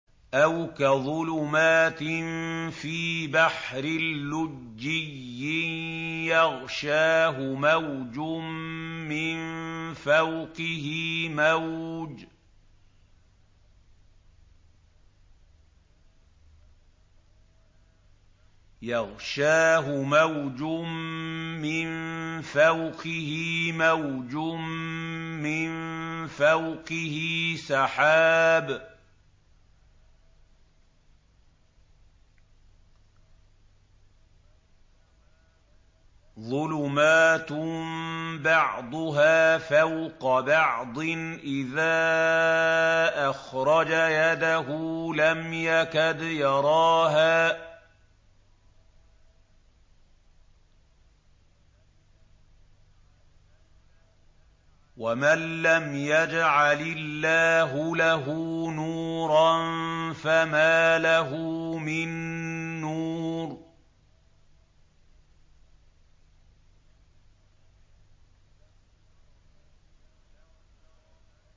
أَوْ كَظُلُمَاتٍ فِي بَحْرٍ لُّجِّيٍّ يَغْشَاهُ مَوْجٌ مِّن فَوْقِهِ مَوْجٌ مِّن فَوْقِهِ سَحَابٌ ۚ ظُلُمَاتٌ بَعْضُهَا فَوْقَ بَعْضٍ إِذَا أَخْرَجَ يَدَهُ لَمْ يَكَدْ يَرَاهَا ۗ وَمَن لَّمْ يَجْعَلِ اللَّهُ لَهُ نُورًا فَمَا لَهُ مِن نُّورٍ